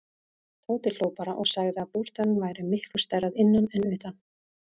Tóti hló bara og sagði að bústaðurinn væri miklu stærri að innan en utan.